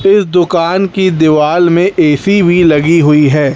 इस दुकान की दीवाल में ए_सी भी लगी हुई है।